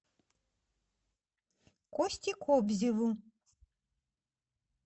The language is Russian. косте кобзеву